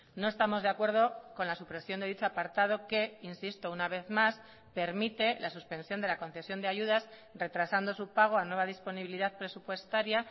no estamos de acuerdo con la supresión de dicho apartado que insisto una vez más permite la suspensión de la concesión de ayudas retrasando su pago a nueva disponibilidad presupuestaria